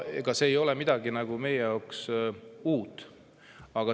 Ega see ei ole meie jaoks midagi uut.